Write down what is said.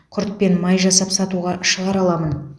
құрт пен май жасап сатуға шығара аламын